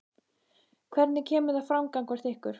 Hvernig kemur það fram gagnvart ykkur?